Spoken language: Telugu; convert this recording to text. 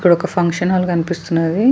ఇక్కడ ఒక ఫంక్షన్ హాల్ కనిపిస్తున్నది --